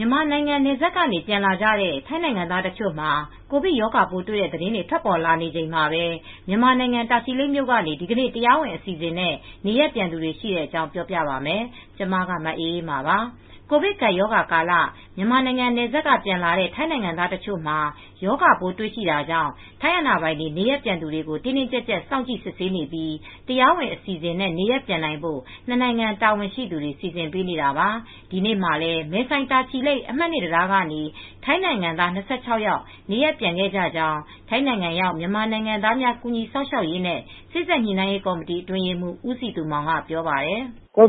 မြန်မာနိုင်ငံနယ်စပ်ကနေ ပြန်လာကြတဲ့ ထိုင်းနိုင်ငံသား တချို့မှာ ကိုဗစ်ရောဂါပိုးတွေ့တဲ့ သတင်းတွေ ထွက်ပေါ် နေချိန်မှာပဲ မြန်မာနိုင်ငံ တာချီလိတ်မြို့ကနေ ဒီကနေ့ တရားဝင်အစီအစဉ်နဲ့ နေရပ်ပြန်သူတွေ ရှိတဲ့အကြောင်းကို ဗွီအိုအေမြန်မာပိုင်း သတင်းထောက် မအေးအေးမာက ပြောပြပေးပါမယ်။ ကိုဗစ်ကပ်ရောဂါကာလ မြန်မာနိုင်ငံနယ်စပ်က ပြန်လာတဲ့ ထိုင်းနိုင်ငံသား တချို့မှာ ရောဂါပိုးတွေ့ရှိတာကြောင့် ထိုင်းအာဏာပိုင်တွေ နေရပ်ပြန်သူတွေကို တင်းတင်းကြပ်ကြပ် စောင့်ကြည့် စစ်ဆေးနေပြီး၊ တရားဝင် အစီအစဉ်နဲ့ နေရပ်ပြန်နိုင်ဖို့ ၂ နိုင်ငံ တာဝန်ရှိသူတွေ စီစဉ်ပေးနေတာပါ။ ဒီနေ့မှာလည်း မဲဆိုင်တာချီလိတ်အမှတ် (၂) တံတားကနေ ထိုင်းနိုင်ငံသား ၂၆ ယောက် နေရပ်ပြန်ခဲ့ကြကြောင်း ထိုင်းနိုင်ငံရောက် မြန်မာနိုင်ငံသားများ ကူညီစောင့်ရှောက်ရေးနဲ့ စေ့စပ်ညှိနှိုင်းရေးကော်မတီ အတွင်းရေးမှူး ဦးစည်သူမောင်က ပြောပါတယ်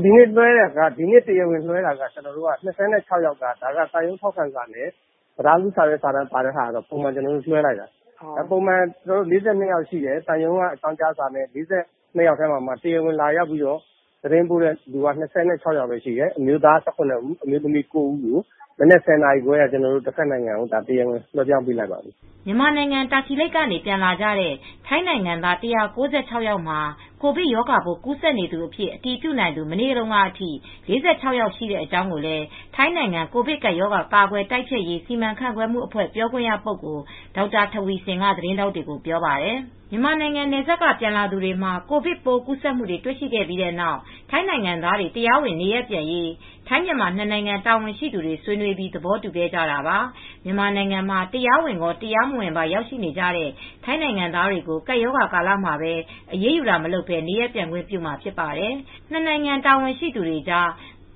“ဒီနေ့ တရားဝင်လွဲှတာက ၂၆ ယောက်က သံရုံးထောက်ခံစာနဲ့ တံတားကြီးအကြောင်းကြားစာနဲ့ပါတဲ့အတွက် ကျနော်တို့ တရားဝင်လွဲှပေးပါတယ်ပုံမှန် ၄၂ ယောက်ရှိတယ် သံရုံးကအကြောင်းကြားစာ ၄၂ ဦးထဲမှာတရားဝင်လာရောက်သတင်းပို့တာ ၂၆ ယောက်ပဲ ရှိတယ် အမျိုးသား ၁၇ ဦးအမျိုးသမီး ၉ ဦးကို မနက် ၁၀ နာရီခွဲက တဘက်နိုင်ငံကို တရားဝင်လွဲလိုက်ပါပြီ။” မြန်မာနိုင်ငံ တာချီလိတ်ကနေ ပြန်လာကြတဲ့ ထိုင်းနိုင်ငံသား ၁၉၆ ယောက်မှာ ကိုဗစ်ရောဂါပိုး ကူးစက်နေသူအဖြစ် အတည်ပြုနိုင်သူ မနေ့တုန်းကထိ ၄၆ ယောက် ရှိကြောင်းလည်း ထိုင်းနိုင်ငံ ကိုဗစ်ကပ်ရောဂါ ကာကွယ်တိုက်ဖျက်ရေး စီမံခန့်ခွဲမှုအဖွဲ့ ပြောခွင့်ရပုဂ္ဂိုလ် ဒေါက်တာထဝီဆင်က သတင်းထောက်တွေကို ပြောပါတယ်။ မြန်မာနိုင်ငံ နယ်စပ်က ပြန်လာသူတွေမှာ ရောဂါပိုး ကူးစက်မှုတွေ တွေ့ရှိခဲ့ပြီးနောက် ထိုင်းနိုင်ငံသားတွေ တရားဝင် နေရပ်ပြန်ရေး ထိုင်းမြန်မာ ၂ နိုင်ငံ တာဝန်ရှိသူတွေ ဆွေးနွေးပြီး သဘောတူခဲ့ကြတာပါ။ မြန်မာနိုင်ငံမှာ တရားဝင်ရော၊ တရားမဝင်ပါ ရောက်နေကြတဲ့ ထိုင်းနိုင်ငံသားတွေကို ကပ်ရောဂါကာလမှာ အရေးယူတာတွေ မလုပ်ဘဲ နေရပ်ပြန်ခွင့်ပြုမှာဖြစ်ပါတယ်။ နှစ် နိုင်ငံ တာဝန်ရှိသူတွေကြား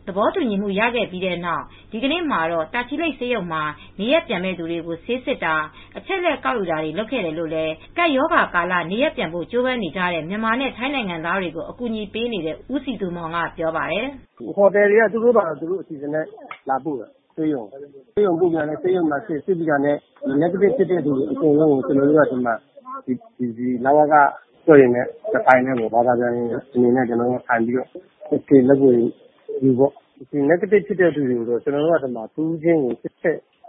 သဘောတူညီမှု ရခဲ့ပြီးနောက် ဒီကနေ့မှာတော့ တာချီလိတ်ဆေးရုံမှာ နေရပ်ပြန်မယ့်သူတွေကို ဆေးစစ်တာ၊ အချက်အလက် ကောက်ယူတာတွေ လုပ်ခဲ့တယ်လို့လည်း ကပ်ရောဂါကာလ နေရပ်ပြန်ဖို့ ကြိုးပမ်းနေကြတဲ့ မြန်မာနဲ့ ထိုင်းနိုင်ငံသားတွေကို အကူအညီပေးနေတဲ့ ဦးစည်သူမောင်က ပြောပါတယ်။ “ဟိုတယ်တွေက သူတို့ လူတွေကို သူတို့ လာပို့တယ်။ ဆေးရုံပို့တယ်။ ဆေးရုံမှာ စစ်ပြီးတာနဲ့ နက်ကတစ်ဖြစ်တဲ့သူတွေ အကုန်လုံးကို လက်ဗွေယူပြီး တရားရုံးကို ပို့မယ်ပြီးတော့ ကျနော်တို့ ကလဝကအဖွဲ့တွေနဲ့ တထိုင်းထဲ လက်ဗွေယူပြီး နဂတစ်ဖြစ်တဲ့သူ တဦးချင်းစစ်ချက်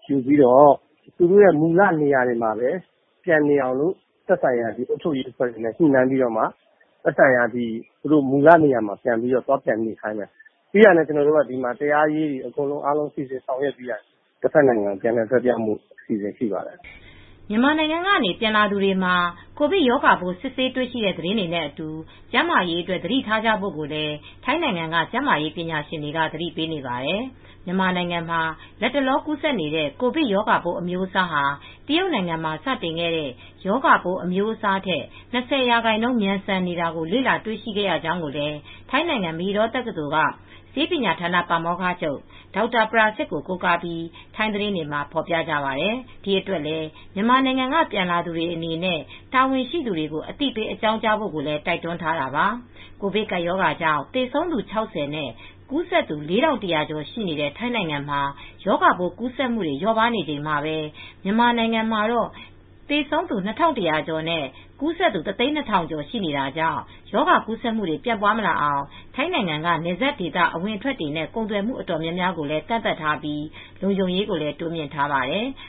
ယူပြီး သူတို့ မူလနေရာမှာ ပြန်နေခိုင်းပြီး၊ ပြီးတော့တရားရေးဌာနက စီစဉ်ပြီးတာနဲ့ ကျနော်တို့က တဘက်နိုင်ငံကို ပြန်လည်လွဲှပြောင်းဖို့ အစီအစဉ်ရှိပါတယ်။” မြန်မာနိုင်ငံကနေ ပြန်လာသူတွေမှာ ကိုဗစ်ရောဂါပိုး စစ်ဆေးတွေ့ရှိတဲ့ သတင်းတွေနဲ့အတူ ကျန်းမာရေးအတွက် သတိထားကြဖို့လည်း ထိုင်းနိုင်ငံက ကျန်းမာရေးပညာရှင်တွေ သတိပေးနေပါတယ်။ မြန်မာနိုင်ငံမှာ လတ်တလော ကူးစက်နေတဲ့ ကိုဗစ်ရောဂါပိုး အမျိုးအစားဟာ တရုတ်နိုင်ငံမှာ စတင်ခဲ့တဲ့ ရောဂါပိုးအမျိုးအစားထက် ၂၀ ရာခိုင်နှုန်း မြန်ဆန်တာကို လေ့လာတွေ့ရှိရကြောင်းလည်း ထိုင်းနိုင်ငံ မဟီဒေါ တက္ကသိုလ်က ဆေးပညာဌာန ပါမောက္ခချုပ် Dr Prasit Watanapa ကို ကိုးကားပြီး ထိုင်းသတင်းတွေမှာ ဖော်ပြခဲ့ကြပါတယ်။ဒီအတွက်လည်း မြန်မာနိုင်ငံက ပြန်လာသူတွေအနေနဲ့ တာဝန်ရှိသူတွေကို အသိပေးအကြောင်းကြားဖို့လည်း တိုက်တွန်းထားတာပါ။ ကိုဗစ်ကပ်ရောဂါကြောင့် သေဆုံးသူ ၆၀ နဲ့ ကူးစက်သူ ၄,၁၀၀ ကျော် ရှိတဲ့ ထိုင်းနိုင်ငံမှာ ရောဂါပိုးကူးစက်မှုတွေ လျော့ပါးနေချိန်မှာပဲ မြန်မာနိုင်ငံမှာတော့ သေဆုံးသူ ၂,၁၀၀ ကျော်နဲ့ ကူးစက်သူ ၁၀၂,၀၀၀ ကျော် ရှိနေတာကြောင့် ရောဂါကူးစက်မှုတွေ ပြန့်ပွားမလာအောင် ထိုင်းနိုင်ငံက နယ်စပ်ဒေသ အဝင်အထွက်တွေနဲ့ ကုန်သွယ်မှုတွေ တော်တော်များများကိုလည်း ကန့်သတ်ထားပြီး လုံခြုံရေးကိုလည်း တိုးမြှင့်ထားပါတယ်။